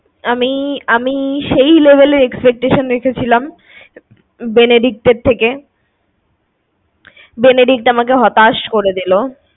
আমি~আমি সেই লেভেল এর expectation রেখেছিলাম Benedict এর থেকে। Benedict আমাকে হতাশ করে দিলো।